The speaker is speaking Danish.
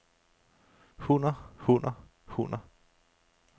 hunner hunner hunner